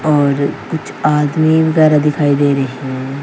और कुछ आदमी वगैरह दिखाई दे रहे हैं।